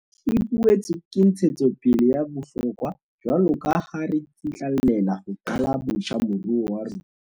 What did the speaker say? E boetse ke ntshetsopele ya bohlokwa jwaloka ha re tsitlallela ho qala botjha moruo wa rona.